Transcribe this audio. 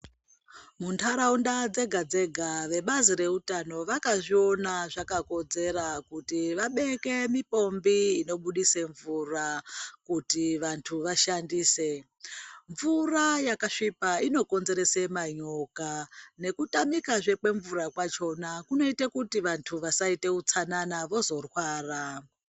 Mundaraunda dzega dzega vebazi vezveutano vakazvione zvakakodzera kuti vabeke mipombi inobudise mvura kuti vashandise mvura yakasvipa inokonzeresa manyoka nekutamika zve kwemvura kwachona kunoita kuti vantu vasaite utsanana vozorwara.